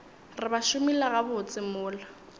re ba šomile gabotse mola